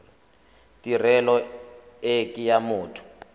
tirelo e ke ya motho